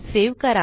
save करा